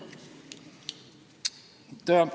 Aitäh!